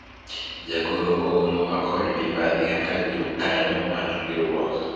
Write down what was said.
jagoro oolowa kod mibadhi kaka jokanyo mar riwruok